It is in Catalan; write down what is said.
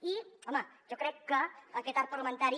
i home jo crec que aquest arc parlamentari